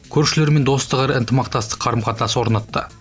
көршілермен достық әрі ынтымақтастық қарым қатынас орнатты